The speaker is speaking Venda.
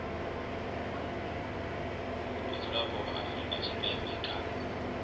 vhadzulapo vha afrika tshipembe kana